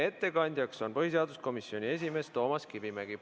Ettekandja on põhiseaduskomisjoni esimees Toomas Kivimägi.